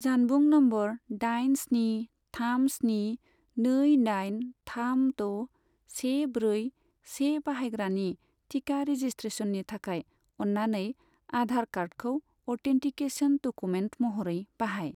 जानबुं नम्बर दाइन स्नि थाम स्नि नै दाइन थाम द' से ब्रै से बाहायग्रानि टिका रेजिसट्रेसननि थाखाय अन्नानै आधार कार्डखौ अथेन्टिकेसन डकुमेन्ट महरै बाहाय।